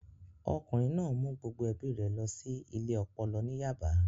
Ọkùnrin náà mú gbogbo ẹbí rẹ̀ lọ sí ilé ọpọlọ ní Yaba